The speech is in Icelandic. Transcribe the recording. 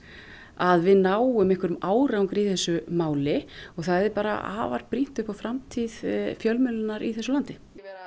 að við náum einvherjum árangri í þessu máli og það er afar brýnt upp á framtíð fjölmiðlunar í þessu landi